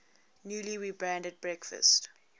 newly rebranded breakfast